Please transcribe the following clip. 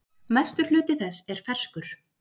Mestur hluti þess er ferskur.